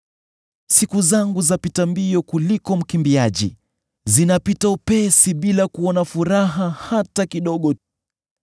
“Siku zangu zapita mbio kuliko mkimbiaji; zinapita upesi bila kuona furaha hata kidogo.